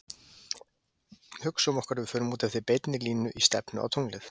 Hugsum okkur að við förum út eftir beinni línu í stefnu á tunglið.